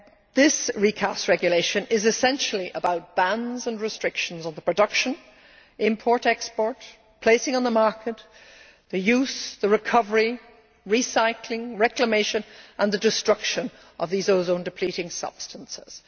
This recast regulation is essentially about bans and restrictions on the production, import, export, placing on the market, use, recovery, recycling, reclamation and destruction of these ozone depleting substances.